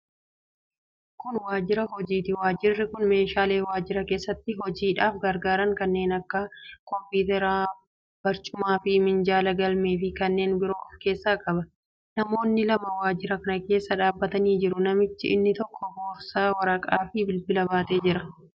Kun waajjira hojiiti. Waajjirri kun meeshaalee waajjira keessatti hojiidhaaf gargaaran kanneen akka kompiwuuteraa, barcumaafi minjaala, galmeefi kanneen biroo of keessaa qaba. Namoonni lama waajjira kana keessa dhaabbatanii jiru. Namichi inni tokko boorsaa, waraqaafi bilbila baatee jira.